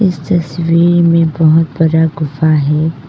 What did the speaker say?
तस्वीर में बहुत बड़ा गुफा है।